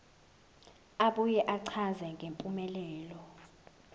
abuye achaze ngempumelelo